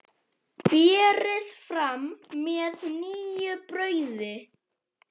Berið fram með nýju brauði.